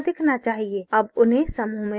अब उन्हें समूह में रखें